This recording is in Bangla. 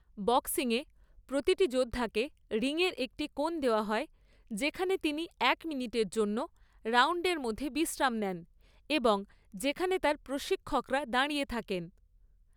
বক্সিংয়ে, প্রতিটি যোদ্ধাকে রিংয়ের একটি কোণ দেওয়া হয় যেখানে তিনি এক মিনিটের জন্য রাউন্ডের মধ্যে বিশ্রাম নেন এবং যেখানে তার প্রশিক্ষকরা দাঁড়িয়ে থাকেন।